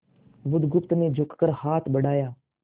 बुधगुप्त ने झुककर हाथ बढ़ाया